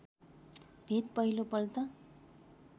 भेट पहिलो पल्ट